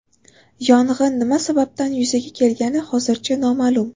Yong‘in nima sababdan yuzaga kelgani hozircha noma’lum.